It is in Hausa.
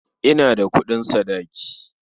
Ina da kuɗin sadaki.